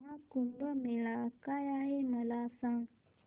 महा कुंभ मेळा काय आहे मला सांग